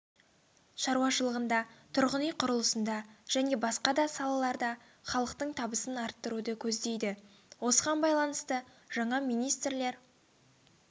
шаруашылығында тұрғын-үй құрылысында және басқа да салаларда халықтың табысын арттыруды көздейді осыған байланысты жаңа министрлер